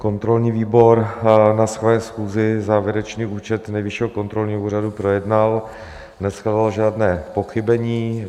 Kontrolní výbor na své schůzi závěrečný účet Nejvyššího kontrolního úřadu projednal, neshledal žádné pochybení.